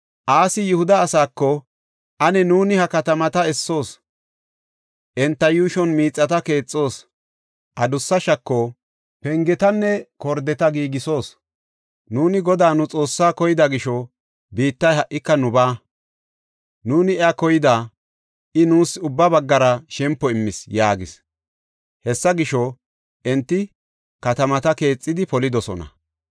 Asi Yihuda asaako, “Ane nuuni ha katamata essoos; enta yuushon miixata keexoos; adussa shako, pengetanne gordeta giigisoos. Nuuni Godaa nu Xoossaa koyida gisho biittay ha77ika nubaa. Nuuni iya koyida; I nuus ubba baggara shempo immis” yaagis. Hessa gisho, enti katamata keexidi polidosona.